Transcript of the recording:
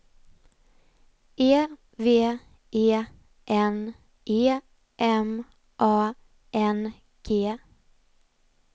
E V E N E M A N G